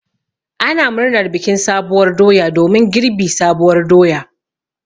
Ana murnar bikin sabuwar doya domin girbi sabuwar doya.